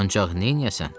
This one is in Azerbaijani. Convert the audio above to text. Ancaq neyləyəsən?